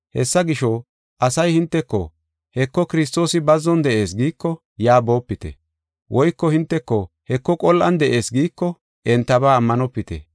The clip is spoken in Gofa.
“Hessa gisho, asay hinteko, ‘Heko, Kiristoosi bazzon de7ees’ giiko, yaa boopite. Woyko hinteko, ‘Heko, qol7an de7ees’ giiko, entaba ammanopite.